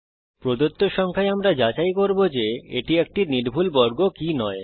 প্রদত্ত সংখ্যায় আমরা যাচাই করব যে এটি একটি নির্ভুল বর্গ কি নয়